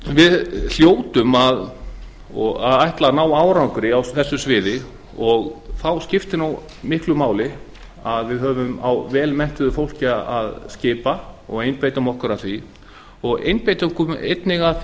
við hljótum að ætla að ná árangri á þessu sviði og þá skiptir miklu máli að við höfum velmenntuðu fólki á að skipa við ættum að einbeita okkur að því og einnig að